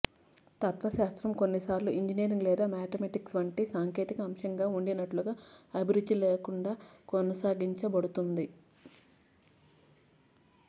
తత్వశాస్త్రం కొన్నిసార్లు ఇంజనీరింగ్ లేదా మ్యాథమెటిక్స్ వంటి సాంకేతిక అంశంగా ఉండినట్లుగా అభిరుచి లేకుండా కొనసాగించబడుతుంది